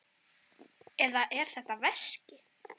Eða er þetta veski?